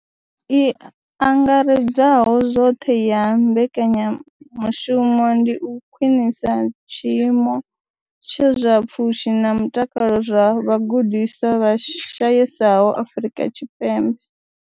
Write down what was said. I angaredzaho zwoṱhe ya mbekanyamushumo ndi u khwinisa tshiimo tsha zwa pfushi na mutakalo zwa vhagudiswa vha shayesaho Afrika Tshipembe.